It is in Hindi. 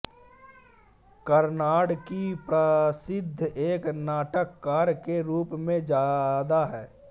कार्नाड की प्रसिद्धि एक नाटककार के रूप में ज्यादा है